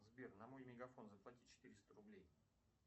сбер на мой мегафон заплати четыреста рублей